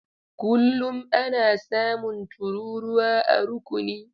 Kullum ana samun tururuwa a rukuni.